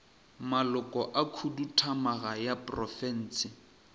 maloko a khuduthamaga ya profense